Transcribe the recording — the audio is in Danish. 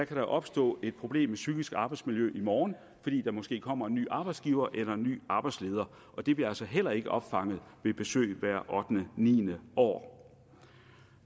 kan opstå et problem med psykisk arbejdsmiljø i morgen fordi der måske kommer en ny arbejdsgiver eller en ny arbejdsleder og det bliver altså heller ikke opfanget ved besøg hvert ottende niende år